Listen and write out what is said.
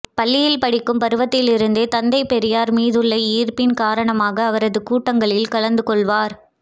பள்ளியில் படிக்கும் பருவத்திலிருந்தே தந்தை பெரியார் மீதுள்ள ஈர்ப்பின் காரணமாக அவரது கூட்டங்களில் கலந்துகொள்வர்